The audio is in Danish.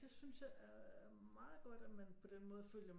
Det synes jeg er meget godt at man på den måde følger